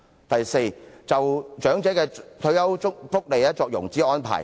第四，政府應就長者的退休福利作融資安排。